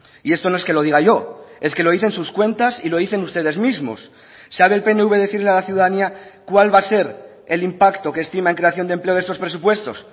y esto no es que lo diga yo es que lo dicen sus cuentas y lo dicen ustedes mismos sabe el pnv decir a la ciudadanía cuál va a ser el impacto que estima en creación de empleo de estos presupuestos